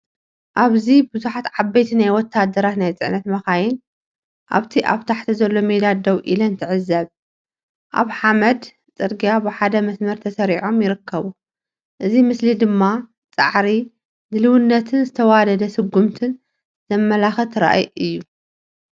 ኣብዚ ብዙሓት ዓበይቲ ናይ ወታደራት ናይ ጽዕነት መካይን ኣብቲ ኣብ ታሕቲ ዘሎ ሜዳ ደው ኢለን ትዕዘባ። ኣብ ሓመድ ጽርግያ ብሓደ መስመር ተሰሪዖም ይርከቡ። እዚ ምስሊ ድማ ጻዕሪ፡ ድልውነትን ዝተዋደደ ስጉምትን ዘመልክት ራእይ እዩ።